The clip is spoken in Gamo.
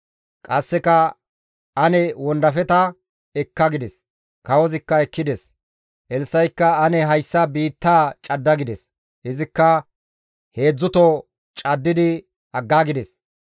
Qasseka, «Ane wondafeta ekka» gides; kawozikka ekkides. Elssa7ikka, «Ane hayssa biittaa cadda» gides; izikka heedzdzuto caddidi aggaagides.